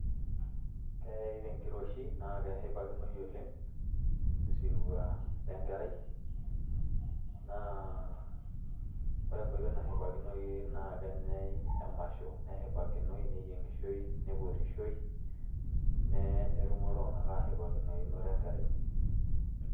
Keyai tenkiroshi na keshipakinoi oleng' osirua le nkerai, naa ore enkoitoi nashipakinoi naa kenyai emasho, neshipakinoi, neyieng'ishoi ,nipotishoi ne netumo iltung'anak einoto enkerai.